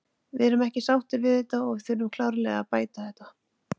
Við erum ekki sáttir við þetta og við þurfum klárlega að bæta þetta.